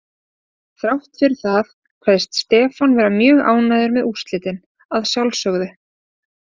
Þrátt fyrir það kveðst Stefán vera mjög ánægður með úrslitin, að sjálfsögðu.